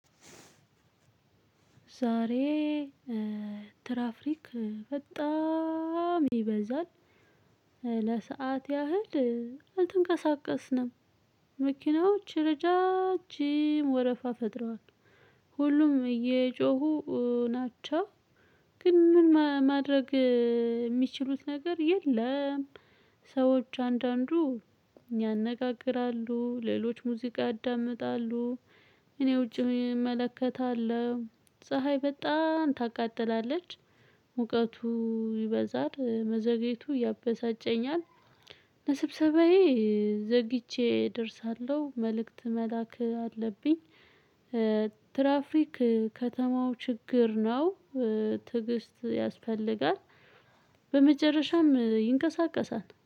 ዛሬ ትራፍሪክ በጣም ይበዛል ለሰአት ያህል አልተንቀሳቀስንም። መኪናዎች ረዣዥም ወረፋ ፈጥሯል ሁሉም እየጮሁ ናቸው። ግን ምን ማድረግ የሚችሉት ነገር የለም። ሰዎች አንዳንዱ ያነጋግራሉ ሌሎች ሙዚቃ ያዳምጣሉ። እኔ ውጪ እመለከታለሁ ፀሀይ በጣም ታቃጥላለች። ሙቀቱ ይበዛል መዘግየቱ ያበሳጨኛል። ለስብሰባዬ ዘግይቼ እደርሳለሁ መልእክት መላክ አለብኝ። ትራፍሪክ ከተማው ችግር ነው። ትዕግስት ያስፈልጋል። በመጨረሻም ይንቀሳቀሳል